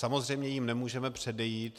Samozřejmě jim nemůžeme předejít.